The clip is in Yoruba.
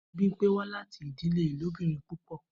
Bimpe wa lati idile ilobirin pupọ.